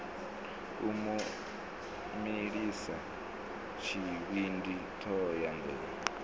u mu milisa tshivhindi thohoyanḓ